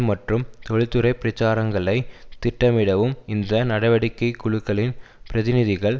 மற்றும் தொழிற்துறை பிரச்சாரங்களை திட்டமிடவும் இந்த நடவடிக்கை குழுக்களின் பிரதிநிதிகள்